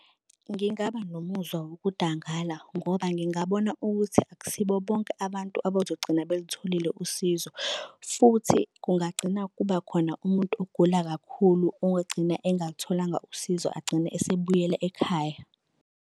Ngingaba nomuzwa wokudangala ngoba ngingabona ukuthi akusibo bonke abantu abazogcina belutholile usizo, futhi kungagcina kuba khona umuntu ogula kakhulu ongagcina engalutholanga usizo agcine esebuyele ekhaya.